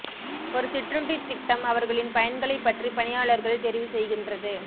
ஒரு சிற்றுண்டித் திட்டம் அவர்களின் பயன்களைப் பற்றி பணியாளர்கள் தெரிவு செய்கின்றது